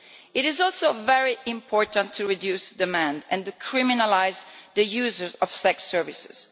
It is also very important to reduce demand and to criminalise the users of sex services.